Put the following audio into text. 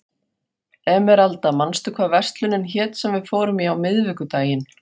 Emeralda, manstu hvað verslunin hét sem við fórum í á miðvikudaginn?